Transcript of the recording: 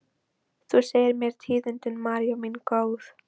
Þú segir mér tíðindin, María mín góð.